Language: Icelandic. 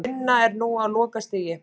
Sú vinna er nú á lokastigi